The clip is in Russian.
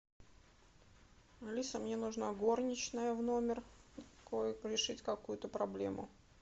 алиса мне нужна горничная в номер решить какую то проблему